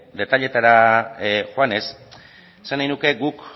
detailetara joanez esan nahi nuke guk